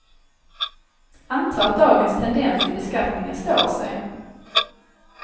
Antag att dagens tendens i beskattningen står sig.